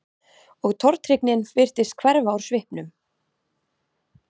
Og tortryggnin virtist hverfa úr svipnum.